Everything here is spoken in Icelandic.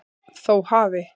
Þó hafi